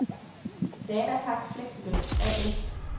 Danapak Flexibel A/S